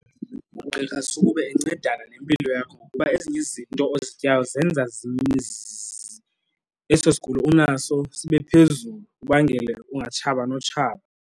Ugqirha sukube encedana nempilo yakho kuba ezinye izinto ozityayo zenza eso sigulo unaso sibe phezulu, ibangele ungatshaba notshaba.